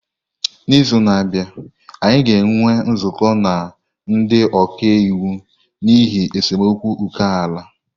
N'izu na-abịa, anyị ga-enwe nzukọ na ndị ọka iwu n'ihi esemokwu ókè-ala